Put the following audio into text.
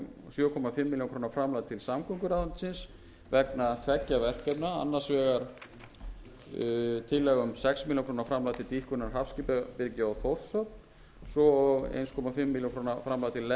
sjö og hálfa milljón króna framlag til samgönguráðuneytisins vegna tveggja verkefna annars vegar tillaga um sex milljónir króna framlag til dýpkunar hafskipabryggju á þórshöfn og svo eins og hálfa milljón